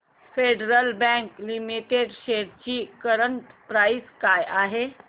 federal Bank Limited shares ची current price काय आहे